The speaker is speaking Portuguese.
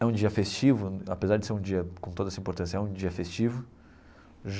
É um dia festivo, apesar de ser um dia com toda essa importância, é um dia festivo.